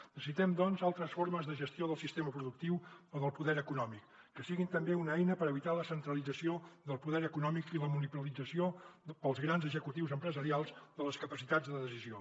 necessitem doncs altres formes de gestió del sistema productiu o del poder econòmic que siguin també una eina per evitar la centralització del poder econòmic i la monopolització pels grans executius empresarials de les capacitats de decisió